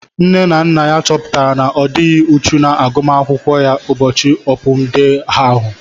Nne na nna ya chọpụtara na odighi uchu na agụmakwụkwọ ya ụbọchị opun dee ahu